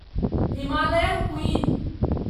Himalayan queen